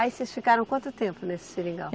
Aí vocês ficaram quanto tempo nesse seringal?